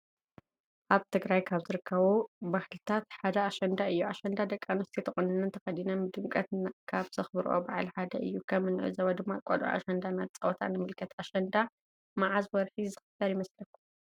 አብ ትግራይ ካብ ዝርከቡ ባህልታት ሓደ አሽንዳ እዩ ።እሽንዳ ደቂ አንስትዮ ተቆኒነን ተከዲነን ብደምቀት ካብ ዘክብሮኦ ብዓል ሓደ እዩ ከም እንዕዞቦ ድማ ቆልዑ አሽንዳ አናተፃወታ ንምልከት ። አሽንዳ መዓዝ ወርሒ ዝክበር ይመስለኩም?